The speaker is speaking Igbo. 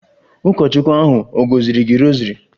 Ụkọchukwu ahụ ọ̀ gọziri gị rosary?